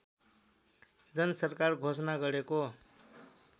जनसरकार घोषणा गरेको